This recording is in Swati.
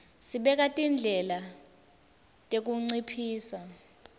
sibeka tindlela tekunciphisa